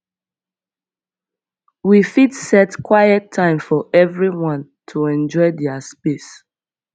we fit dey set quiet time for everyone to enjoy dia space